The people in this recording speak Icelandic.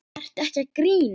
Ertu ekki að grínast?